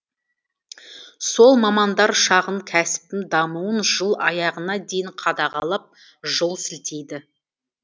сол мамандар шағын кәсіптің дамуын жыл аяғына дейін қадағалап жол сілтейді